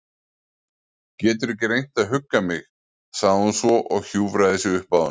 Geturðu ekki reynt að hugga mig- sagði hún svo og hjúfraði sig upp að honum.